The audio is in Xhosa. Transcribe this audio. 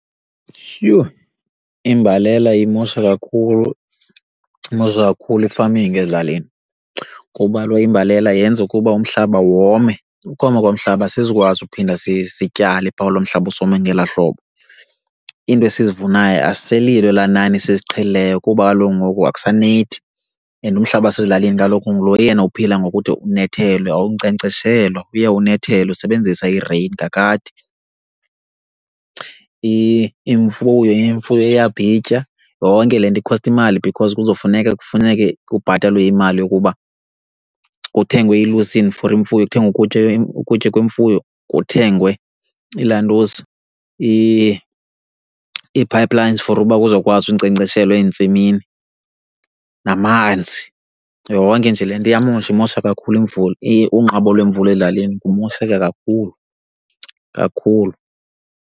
Yhu! Imbalela imosha kakhulu, imosha kakhulu i-farming ezilalini. Kuba kaloku imbalela yenza ukuba umhlaba wome, ukoma komhlaba asizukwazi ukuphinda sityale phaa kulo mhlaba usome ngelaa hlobo. Into esizivunayo aziselilo elaa nani siziqhelileyo kuba kaloku ngoku akusanethi and umhlaba wasezilalini kaloku ngulo yena uphila ngokuthi unethelwe awunkcenkceshelwa uye unethelwe usebenzisa i-rain kakade. Imfuyo iyabhitya. Yonke le nto ikhosta imali because kuzofuneka kufuneke kubhatalwe imali yokuba kuthengwe ilusini for imfuyo, kuthengwe ukutya, ukutya kwemfuyo kuthengwe ilantuza ii-pipelines for uba kuzokwazi unkcenkceshelwa ezintsimini, namanzi, yonke nje le nto iyamosha, imosha kakhulu imvula. Unqabo lwemvula ezilalini kumosheke kakhulu, kakhulu.